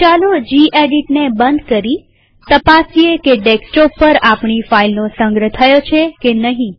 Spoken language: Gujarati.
ચાલો જીએડિટને બંધ કરી તપાસીએ કે ડેસ્કટોપ પર આપણી ફાઈલનો સંગ્રહ થયો છે કે નહિ